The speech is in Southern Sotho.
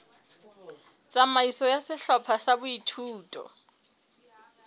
tsamaiso ya sehlopha sa boithuto